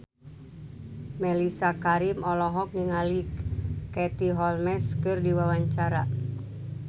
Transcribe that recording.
Mellisa Karim olohok ningali Katie Holmes keur diwawancara